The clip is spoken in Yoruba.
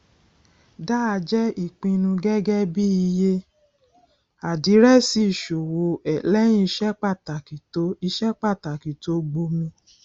dáa jẹ ìpinnu gẹgẹ bí iye àdírẹsì ìṣòwò lẹyìn iṣẹ pàtàkì tó iṣẹ pàtàkì tó gbomi